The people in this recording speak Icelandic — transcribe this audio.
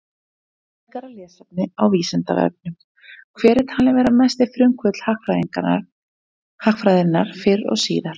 Frekara lesefni á Vísindavefnum: Hver er talinn vera mesti frumkvöðull hagfræðinnar fyrr og síðar?